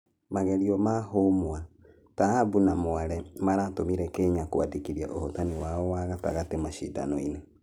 Magerio ma Humwa, Taabu na Mwale maratũmire kenya kũandĩkitia ũhotani wao wa gatatũ mashidano-inĩ.